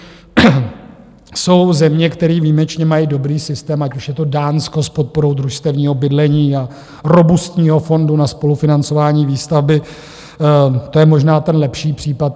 Jsou země, které výjimečně mají dobrý systém, ať už je to Dánsko s podporou družstevního bydlení a robustního fondu na spolufinancování výstavby, to je možná ten lepší případ.